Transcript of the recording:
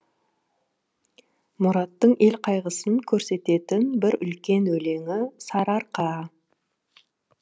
мұраттың ел қайғысын көрсететін бір үлкен өлеңі сарыарқа